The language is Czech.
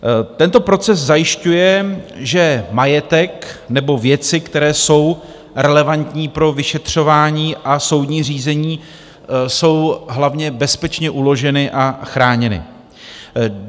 Tento proces zajišťuje, že majetek nebo věci, které jsou relevantní pro vyšetřování a soudní řízení, jsou hlavně bezpečně uloženy a chráněny.